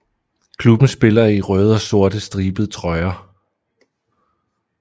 Klubben spiller i røde og sorte stribede trøjer